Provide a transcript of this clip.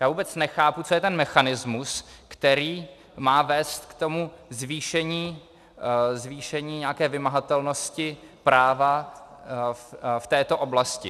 Já vůbec nechápu, co je ten mechanismus, který má vést k tomu zvýšení nějaké vymahatelnosti práva v této oblasti.